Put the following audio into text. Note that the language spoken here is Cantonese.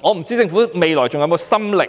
我不知道政府未來是否還有心力